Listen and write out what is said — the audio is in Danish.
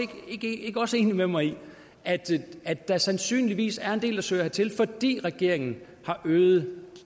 ikke også enig med mig i at at der sandsynligvis er en del der søger hertil fordi regeringen har øget